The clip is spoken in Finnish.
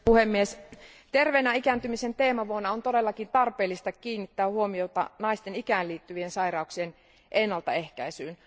Arvoisa puhemies, terveenä ikääntymisen teemavuonna on todellakin tarpeellista kiinnittää huomiota naisten ikään liittyvien sairauksien ennaltaehkäisyyn.